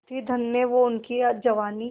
थी धन्य वो उनकी जवानी